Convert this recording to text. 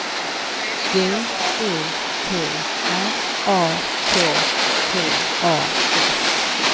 B E T R A K T A S